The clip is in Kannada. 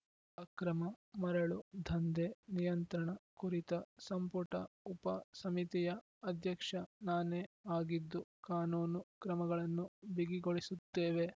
ಅಕ್ರಮ ಮರಳು ದಂಧೆ ನಿಯಂತ್ರಣ ಕುರಿತ ಸಂಪುಟ ಉಪ ಸಮಿತಿಯ ಅಧ್ಯಕ್ಷ ನಾನೇ ಆಗಿದ್ದು ಕಾನೂನು ಕ್ರಮಗಳನ್ನು ಬಿಗಿಗೊಳಿಸುತ್ತೇವೆ